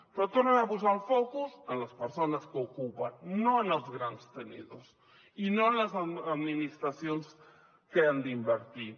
però tornen a posar el focus en les persones que ocupen no en els grans tenidors i no en les administracions que han d’invertir